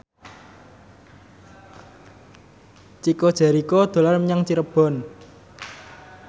Chico Jericho dolan menyang Cirebon